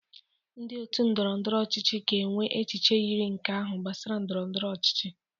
Ndị otu ndọrọ ndọrọ ọchịchị ga-enwe echiche yiri nke ahụ gbasara ndọrọ ndọrọ ọchịchị